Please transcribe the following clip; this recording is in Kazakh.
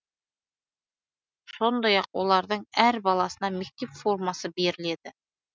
сондай ақ олардың әр баласына мектеп формасы беріледі